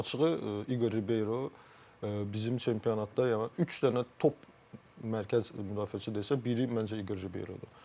Yəni açığı, İqor Ribero bizim çempionatda, yəni üç dənə top mərkəz müdafiəçisi desək, biri məncə İqor Ribero.